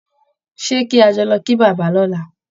Ṣé kí a jọ lọ kí bàbá lọ́la?